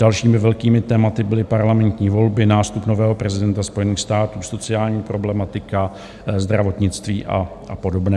Dalšími velkými tématy byly parlamentní volby, nástup nového prezidenta Spojených států, sociální problematika, zdravotnictví a podobné.